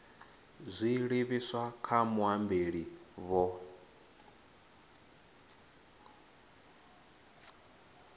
dzi livhiswa kha muambeli vho